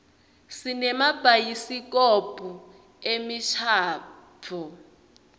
sinemabhayisikobho emishadvo